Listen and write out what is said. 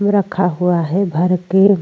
रखा हुआ है भर के।